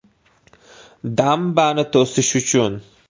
“Dambani to‘sish uchun.